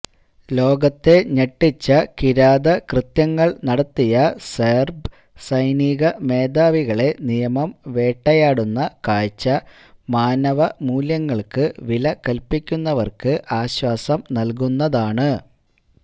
ലോകത്തെ ഞെട്ടിച്ച കിരാതകൃത്യങ്ങള് നടത്തിയ സെര്ബ് സൈനിക മേധാവികളെ നിയമം വേട്ടയാടുന്ന കാഴ്ച മാനവമൂല്യങ്ങള്ക്ക് വിലകല്പ്പിക്കുന്നവര്ക്ക് ആശ്വാസം നല്കുന്നതാണ്